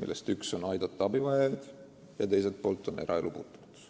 millest üks on abivajajate aitamine ja teine on eraelu puutumatus.